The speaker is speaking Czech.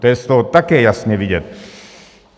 To je z toho také jasně vidět.